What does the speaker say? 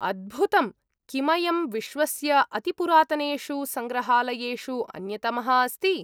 अद्भुतम्! किमयं विश्वस्य अतिपुरातनेषु सङ्ग्रहालयेषु अन्यतमः अस्ति?